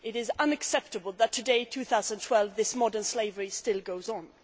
It is unacceptable that today, in 2012, this modern slavery still goes on.